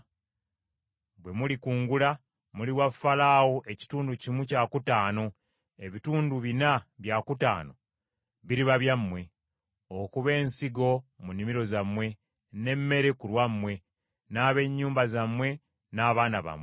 Bwe mulikungula, muliwa Falaawo ekitundu kimu kyakutaano, ebitundu bina bya kutaano biriba byammwe, okuba ensigo mu nnimiro zammwe, n’emmere ku lwammwe n’ab’ennyumba zammwe n’abaana bammwe.”